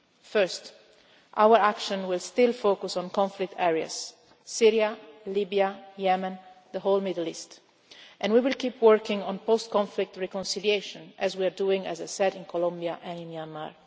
First, our action will still focus on conflict areas Syria, Libya, Yemen, the whole Middle East, and we will keep working on post conflict reconciliation as we are doing, as I said, in Colombia and in Myanmar.